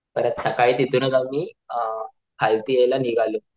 परत सकाळीच तिथून आम्ही अ खालती येयला निघालो.